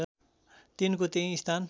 तिनको त्यही स्थान